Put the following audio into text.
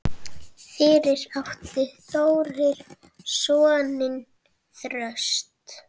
Fyrir átti Þórir soninn Þröst.